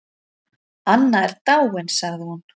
Anna er dáin sagði hún.